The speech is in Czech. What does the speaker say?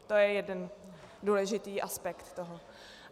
To je jeden důležitý aspekt toho.